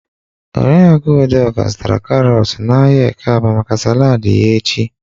Oriakụ Udoka zụtara karọt n'ahịa ekeaba maka salad ya echi.